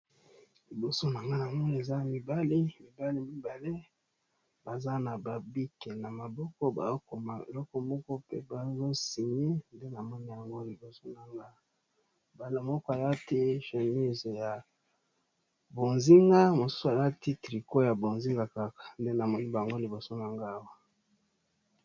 Liboso nangai eza mibali mibali mibale baza na babic na maboko bazo koma eloko moko pe bazo singer nde namoni yango liboso nanga awa moko alati chemise ya bozinga mosusu alati trico ya bozinga kaka nde namoni liboso nanga awa.